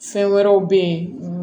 Fɛn wɛrɛw bɛ ye